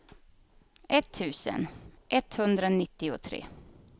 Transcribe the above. etttusen etthundranittiotre